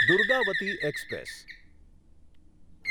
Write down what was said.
Durgavati express